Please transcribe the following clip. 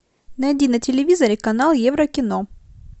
найди на телевизоре канал еврокино